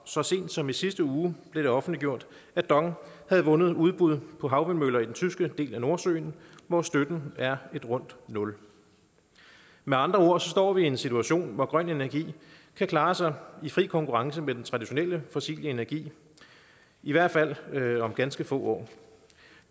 så sent som i sidste uge blev det offentliggjort at dong havde vundet udbuddet på havvindmøller i den tyske del af nordsøen hvor støtten er et rundt nul med andre ord står vi i en situation hvor grøn energi kan klare sig i fri konkurrence med den traditionelle fossile energi i hvert fald om ganske få år